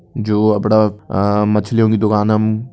जू अपड़ा अ-मछली की दुकानम --